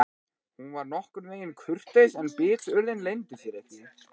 Hún var nokkurn veginn kurteis en biturðin leyndi sér ekki.